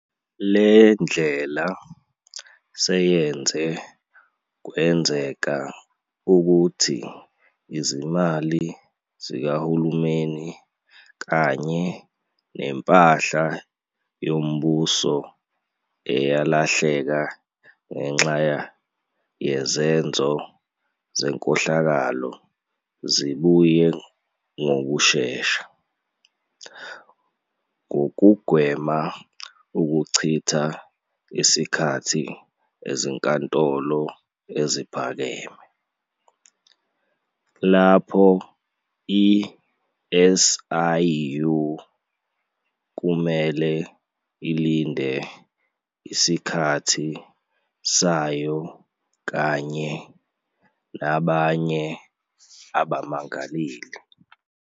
Le ndlela seyenze kwenzeka ukuthi izimali zikahulumeni kanye nempahla yombuso eyalahleka ngenxa yezenzo zenkohlakalo zibuye ngokushesha, ngokugwema ukuchitha isikhathi ezinkantolo eziphakeme, lapho i-SIU kumele ilinde isikhathi sayo kanye nabanye abamangaleli.